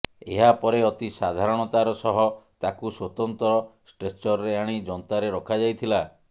ଏହା ପରେ ଅତି ସାବଧାନତାର ସହ ତାକୁ ସ୍ୱତନ୍ତ୍ର ଷ୍ଟ୍ରେଚରରେ ଆଣି ଯନ୍ତାରେ ରଖାଯାଇଥିଲା